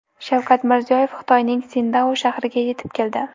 Shavkat Mirziyoyev Xitoyning Sindao shahriga yetib keldi.